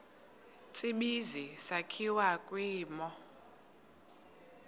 tsibizi sakhiwa kwimo